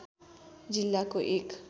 जिल्लाको एक